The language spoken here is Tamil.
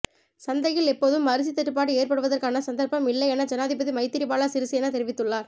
சந்தையில் எப்போதும் அரிசி தட்டுப்பாடு ஏற்படுவதற்கான சந்தர்ப்பம் இல்லையென ஜனாதிபதி மைத்திரிபால சிறிசேன தெரிவித்துள்ளார்